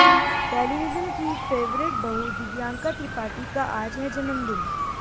television की favourite बहू दिव्यांका त्रिपाठी का आज है जन्मदिन